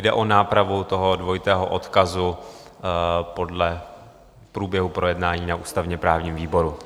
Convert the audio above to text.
Jde o nápravu toho dvojitého odkazu podle průběhu projednání na ústavně-právním výboru.